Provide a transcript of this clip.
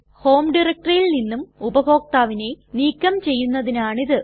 home ഡയറക്ടറിയിൽ നിന്നും ഉപഭോക്താവിനെ നീക്കം ചെയ്യുന്നതിനാണ് ഇത്